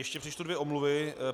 Ještě přečtu dvě omluvy.